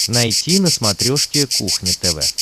найти на смотрешке кухня тв